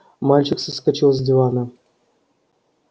мальчик соскочил с дивана